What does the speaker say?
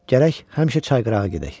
Gərək həmişə çay qırağı gedək.